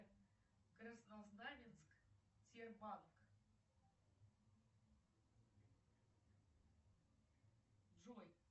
краснознаменск сбербанк джой